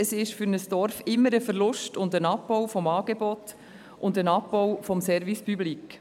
Es ist für ein Dorf immer ein Verlust und ein Abbau des Angebots sowie des Service public.